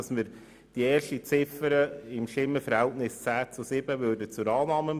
Ziffer 1 empfehlen wir im Stimmenverhältnis von 10 zu 7 Stimmen zur Annahme.